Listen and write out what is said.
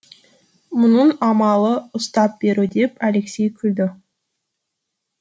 мұның амалы ұстап беру деп алексей күлді